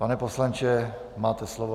Pane poslanče, máte slovo.